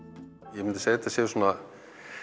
ég myndi segja að þetta séu svona